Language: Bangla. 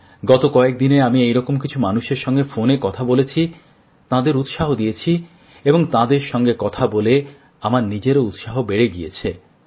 গত কয়েক দিনে আমি এই রকম কিছু মানুষের সঙ্গে ফোনে কথা বলেছি তাঁদের উৎসাহ দিয়েছি এবং তাঁদের সঙ্গে কথা বলে আমার নিজেরও উৎসাহ বেড়ে গেছে